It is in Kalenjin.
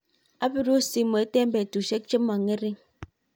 apirun simoit eng betushek che mo ngerink.